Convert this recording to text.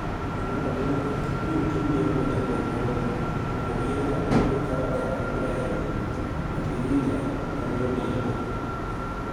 Dwe mar aboro mabiro, ibiro tim yiero matini e gwenig'no monido oyier nig'at mabiro kawo kar Ibrahim Abiriga ma ni e oni egi.